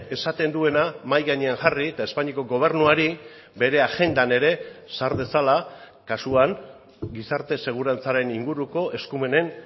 esaten duena mahai gainean jarri eta espainiako gobernuari bere agendan ere sar dezala kasuan gizarte segurantzaren inguruko eskumenen